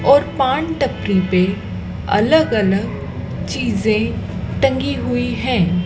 और पान टपरी पे अलग अलग चीजें टंगी हुई हैं।